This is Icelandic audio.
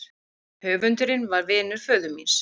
Höfundurinn var vinur föður míns.